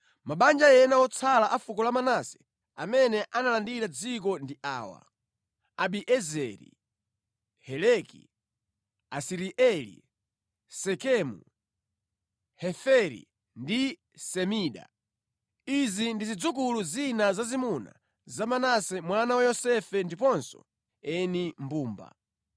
Mabanja ena otsala a fuko la Manase amene analandira dziko ndi awa: Abiezeri, Heleki, Asirieli, Sekemu, Heferi ndi Semida. Izi ndi zidzukulu zina zazimuna za Manase mwana wa Yosefe ndiponso eni mbumba.